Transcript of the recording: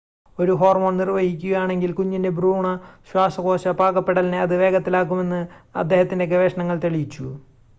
ഒരു ഹോർമോൺ നിർവഹിക്കുകയാണെങ്കിൽ കുഞ്ഞിൻ്റെ ഭ്രൂണ ശ്വാസകോശ പാകപ്പെടലിനെ അത് വേഗത്തിലാക്കുമെന്ന് അദ്ദേഹത്തിൻ്റെ ഗവേഷണങ്ങൾ തെളിയിച്ചു